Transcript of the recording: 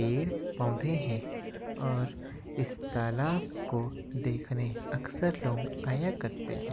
पेड़ पौधे हैं और इस तालाब को देखने अक्सर लोग आया करते हैं।